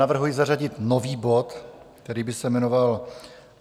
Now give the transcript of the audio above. Navrhuji zařadit nový bod, který by se jmenoval